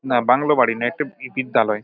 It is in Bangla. না বাংলো বাড়ি না একটি বি-বিদ্যালয় ।